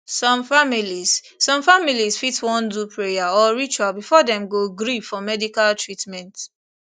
some families some families fit wan do prayer or ritual before dem go gree for medical treatment